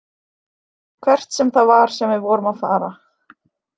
Hvert sem það var sem við vorum að fara.